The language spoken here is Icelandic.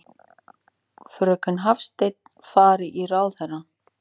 Fröken Hafstein fari í ráðherrann.